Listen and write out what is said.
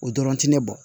O dɔrɔn tɛ ne bolo